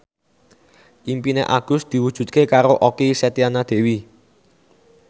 impine Agus diwujudke karo Okky Setiana Dewi